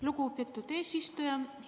Lugupeetud eesistuja!